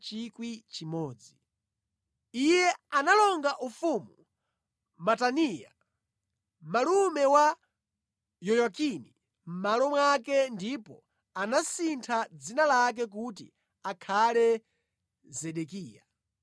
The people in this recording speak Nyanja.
Iye analonga ufumu Mataniya, malume wa Yoyakini mʼmalo mwake ndipo anasintha dzina lake kuti akhale Zedekiya.